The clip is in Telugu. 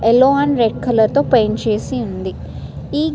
ఎల్లో అండ్ రెడ్ కలర్ తో పెయింట్ చేసి ఉంది. ఈ --